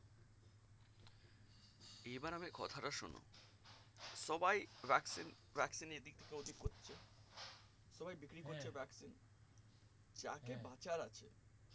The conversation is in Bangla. এইবার আমার কথাটা শোনো সবাই vaccine vaccine নিয়ে এইদিক থেকে ও দিক করছে সবাই বিক্রি করতে ব্যাস্ত vaccine যাকে বাঁচার আছে